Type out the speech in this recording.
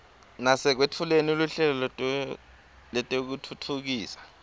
nasekwetfuleni luhlelo lwekutfutfukisa